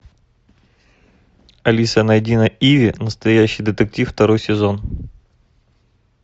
алиса найди на иви настоящий детектив второй сезон